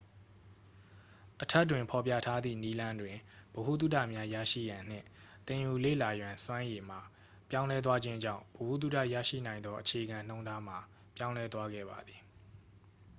အထက်တွင်ဖော်ပြထားသည့်နည်းလမ်းတွင် ဗဟုသုတများရရှိရန်နှင့် သင်ယူလေ့လာရန်စွမ်းရည်မှာ ပြောင်းလဲသွားခြင်းကြောင့် ဗဟုသုတရရှိနိုင်သောအခြေခံနှုန်းထားမှာ ပြောင်းလဲသွားခဲ့ပါသည်